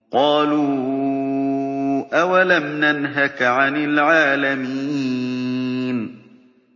قَالُوا أَوَلَمْ نَنْهَكَ عَنِ الْعَالَمِينَ